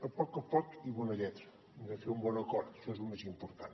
a poc a poc i bona lletra hem de fer un bon acord això és lo més important